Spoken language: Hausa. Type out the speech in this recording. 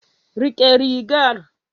Rike rigar.